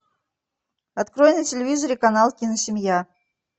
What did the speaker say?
открой на телевизоре канал киносемья